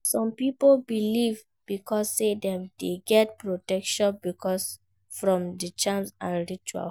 Some pipo believe because say dem de get protection from di charm and ritual